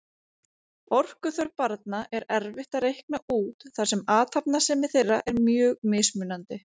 Orkuþörf barna er erfitt að reikna út þar sem athafnasemi þeirra er mjög mismunandi.